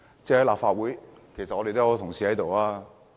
在立法會我們有很多同事。